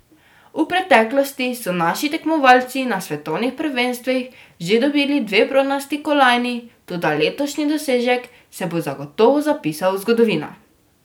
V preteklosti so naši tekmovalci na svetovnih prvenstvih že dobili dve bronasti kolajni, toda letošnji dosežek se bo zagotovo zapisal v zgodovino.